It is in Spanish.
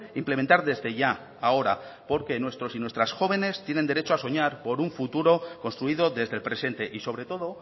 implementar desde ya ahora porque nuestros y nuestras jóvenes tienen derecho a soñar por un futuro construido desde el presente y sobre todo